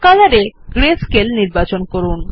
Color এ grey scale নির্বাচন করুন